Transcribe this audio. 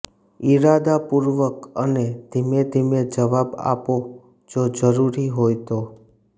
ઇરાદાપૂર્વક અને ધીમે ધીમે જવાબ આપો જો જરૂરી હોય તો